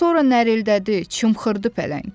Sonra nərildədi, çımxırdı pələng.